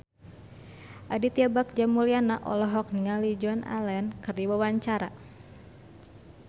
Aditya Bagja Mulyana olohok ningali Joan Allen keur diwawancara